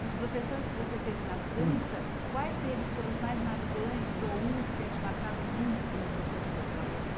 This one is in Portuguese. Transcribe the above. Dos professores que você teve na França, quais deles foram os mais marcantes ou um que tenha te marcado muito como professor para você?